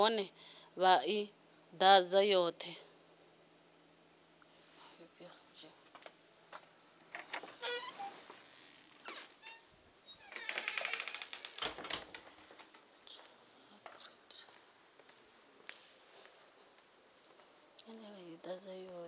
nahone vha i ḓadze yoṱhe